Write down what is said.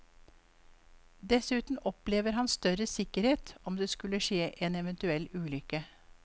Dessuten opplever han større sikkerhet om det skulle skje en eventuell ulykke.